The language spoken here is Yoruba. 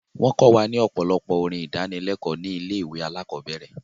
Wọ́n kọ wa ní ọ̀pọ̀lọpọ̀ orin ìdánilékòó ní ilé ìwé alákọ̀berẹ̀.